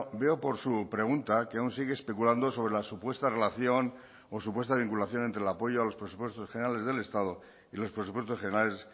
veo por su pregunta que aún sigue especulando sobre la supuesta relación o supuesta vinculación entre el apoyo a los presupuestos generales del estado y los presupuestos generales